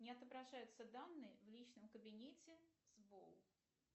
не отображаются данные в личном кабинете